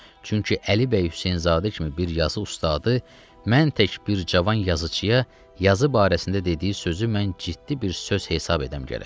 Çünki Əli bəy Hüseynzadə kimi bir yazı ustadı, mən tək bir cavan yazıçıya yazı barəsində dediyi sözü mən ciddi bir söz hesab edəm gərək.